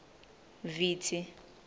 vitsi